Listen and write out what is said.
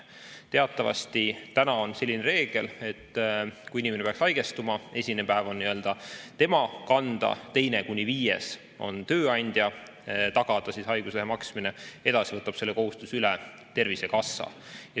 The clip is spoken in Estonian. Teatavasti praegu on selline reegel, et kui inimene peaks haigestuma, siis esimene päev on tema kanda, teisest kuni viiendani on haiguslehe eest maksmine tööandja tagada, edasi võtab selle kohustuse üle Tervisekassa.